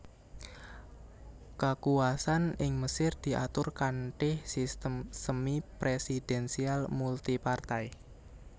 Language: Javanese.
Kakuwasan ing Mesir diatur kanthi sistem semipresidensial multipartai